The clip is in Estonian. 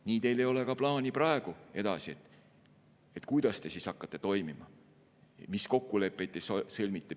Nii teil ei ole ka praegu plaani, kuidas te hakkate edaspidi toimima ja mis kokkuleppeid te sõlmite.